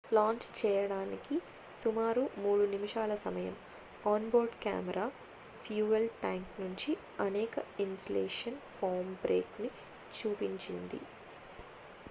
launch చేయడానికి సుమారు 3 నిమిషాల సమయం on board camera fuel tank నుంచి అనేక ఇన్సులేషన్ ఫోమ్ బ్రేక్ ని చూపించింది